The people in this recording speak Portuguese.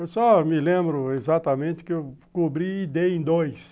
Eu só me lembro exatamente que eu cobri e dei em dois.